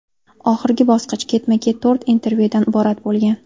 Oxirgi bosqich ketma-ket to‘rt intervyudan iborat bo‘lgan.